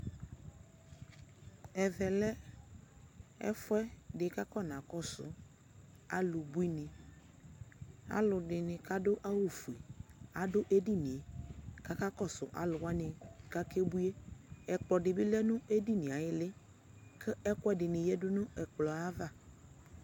Ɛvɛ lɛ ɛfu ɛdi ku akɔnakɔsu alu buini alu ɛdini ku adu awu ɔfue adu edini yɛ ku akakɔsu aluwani ku akebui yɛ Ɛkplɔ di bi du edini yɛ ayu iili ku ɛku ɛdini yadu nu ɛkplɔ yɛ ava